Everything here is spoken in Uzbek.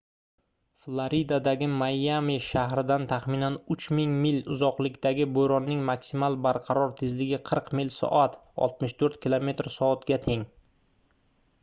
floridadagi mayami shahridan taxminan 3000 mil uzoqlikdagi bo'ronning maksimal barqaror tezligi 40 mil/soat 64 km/s ga teng